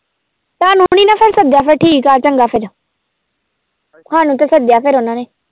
ਤੁਹਾਨੂੰ ਨੀ ਨਾ ਫਿਰ ਸੱਦਿਆ ਫਿਰ ਠੀਕ ਆ ਚੰਗਾ ਫਿਰ ਸਾਨੂੰ ਤਾਂ ਸੱਦਿਆ ਫਿਰ ਉਹਨਾਂ ਨੇ।